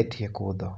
e tie kudho.